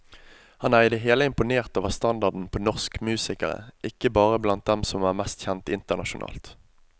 Han er i det hele imponert over standarden på norsk musikere, ikke bare blant dem som er mest kjent internasjonalt.